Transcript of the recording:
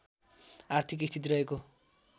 आर्थिक स्थिति रहेको